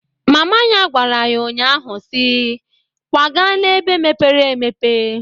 Mama ya gwara ya nnya ahụ si, "Kwagaa na-ebe mepere emepe!"